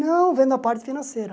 Não vendo a parte financeira.